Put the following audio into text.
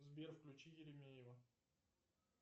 сбер включи еремеева